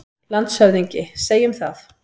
LANDSHÖFÐINGI: Segjum það.